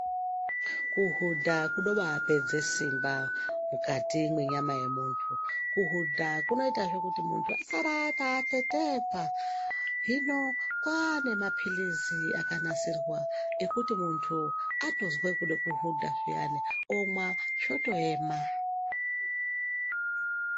Kuhuda kunoba kupedze simba mukati menyama yemuntu ,kuhuda kunoita zvekuti muntu asare akatetepa ,zvino kwaanemapirisi akanasirwa ekuti muntu atozwe kuda kuhuda zviani, onwa zvotoyema.